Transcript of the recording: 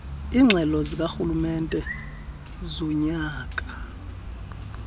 iingxelo zikarhulumente zonyaka